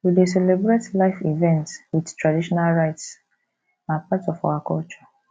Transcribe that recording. we dey celebrate life events with traditional rites na part of our culture